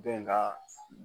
Dɔ in ka